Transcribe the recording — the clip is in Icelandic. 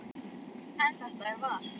En þetta er val.